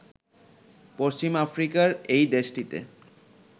পশ্চিম আফ্রিকার এই দেশটিতে